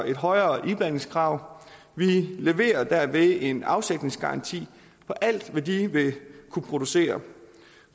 et højere iblandingskrav vi leverer derved en afsætningsgaranti på alt hvad de vil kunne producere